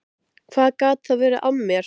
Hvað gat þá verið að mér?